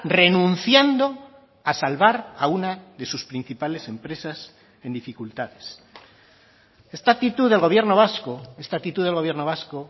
renunciando a salvar a una de sus principales empresas en dificultades esta actitud del gobierno vasco esta actitud del gobierno vasco